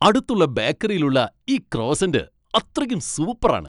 അടുത്തുള്ള ബേക്കറിയിൽ ഉള്ള ഈ ക്രോസ്സൻ് അത്രക്കും സൂപ്പർ ആണ് .